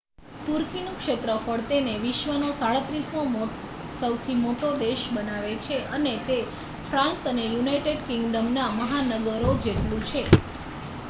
તુર્કીનું ક્ષેત્રફળ તેને વિશ્વનો 37મો સૌથી મોટો દેશ બનાવે છે અને તે ફ્રાન્સ અને યુનાઇટેડ કિંગડમના મહાનગરો જેટલું છે